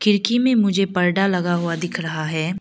खिड़की में मुझे पर्दा लगा हुआ दिख रहा है।